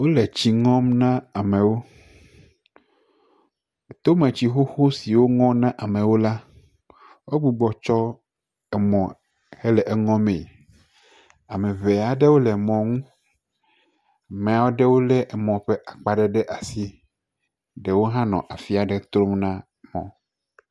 Wole tsi ŋɔm na amewo. Tome tsi xoxo siwo ŋɔ na amewo la, wo gbugbɔ tsɔ emɔ hele eŋɔ mee. Ame aɖewo le ŋmɔ nu. Ame aɖewo le emɔ ƒe akpa ɖe ɖe asi, ɖewo hã le afia ɖe trɔm na mɔa.